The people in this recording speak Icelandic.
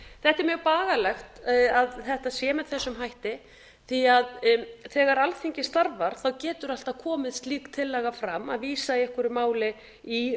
það er mjög bagalegt að þetta sé með þessum hætti því að þegar alþingi starfar getur alltaf komið slík tillaga fram að vísa eigi einhverju máli í